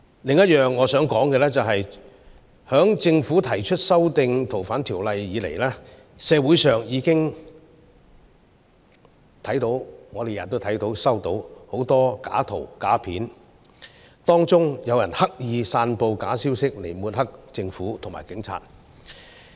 此外，我想說的是，自政府提出修訂《2019年逃犯及刑事事宜相互法律協助法例條例草案》以來，我們每天都接收到很多假圖、假片段，當中有人刻意散布假消息，藉此抹黑政府和警察。